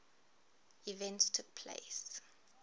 events took place